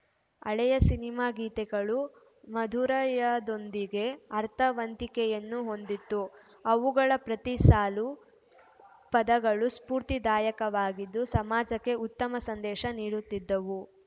ಹಳೆಯ ಸಿನಿಮಾ ಗೀತೆಗಳು ಮಾಧುರ‍್ಯದೊಂದಿಗೆ ಅರ್ಥವಂತಿಕೆಯನ್ನೂ ಹೊಂದಿತ್ತು ಅವುಗಳ ಪ್ರತಿಸಾಲು ಪದಗಳು ಸ್ಫೂರ್ತಿದಾಯಕವಾಗಿದ್ದು ಸಮಾಜಕ್ಕೆ ಉತ್ತಮ ಸಂದೇಶ ನೀಡುತ್ತಿದ್ದವು